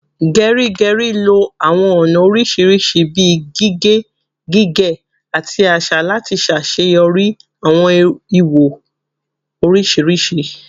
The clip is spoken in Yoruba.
Geri Geri lo awọn ọna oriṣiriṣi bii gige, gige, ati aṣa lati ṣaṣeyọri awọn iwo oriṣiriṣi